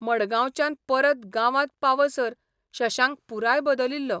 मङगांवच्यान परत गांवांत पावसर शशांक पुराय बदलिल्लो.